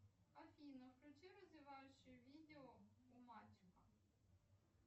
афина включи развивающее видео у мальчика